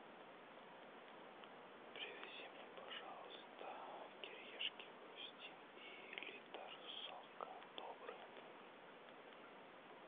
привези мне пожалуйста кириешки хрустим и литр сока добрый